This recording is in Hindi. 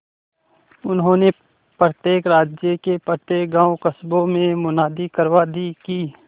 उन्होंने प्रत्येक राज्य के प्रत्येक गांवकस्बों में मुनादी करवा दी कि